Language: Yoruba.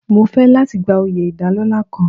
Mo fẹ́ láti gba oyè ìdálọ́lá kan.